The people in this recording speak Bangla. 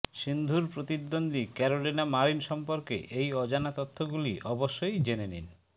সিন্ধুর প্রতিদ্বন্দ্বী ক্যারোলিনা মারিন সম্পর্কে এই অজানা তথ্যগুলি অবশ্যই জেনে নিন